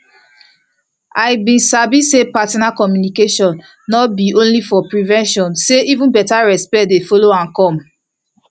i been sabi say partner communication no be only for prevention say even beta respect dey follow am come